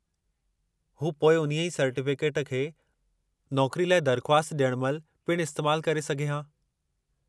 हू पोइ उन्हीअ सर्टीफ़िकेट खे नौकरी लाइ दरख़्वास्त ॾियण महिल पिणु इस्तेमालु करे सघे हा।